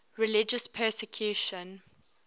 religious persecution